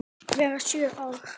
vera sjö ár!